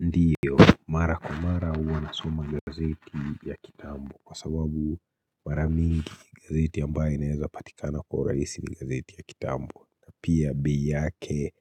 Ndiyo mara kwa mara huwa nasoma ni gazeti ya kitambo kwa sababu maramingi gazeti ambayo inaweza patikana kwa urahisi ni gazeti ya kitambo na pia be yake